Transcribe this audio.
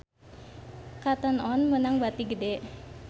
Cotton On meunang bati gede